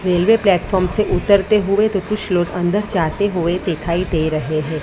Railway platform से उतरते हुए तो कुछ लोग अंदर जाते हुए दिखाई दे रहे हैं।